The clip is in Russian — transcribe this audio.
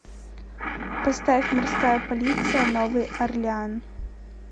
поставь морская полиция новый орлеан